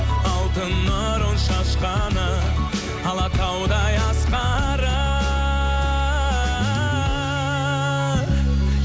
алтын нұрын шашқаны алатаудай асқары